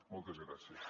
moltes gràcies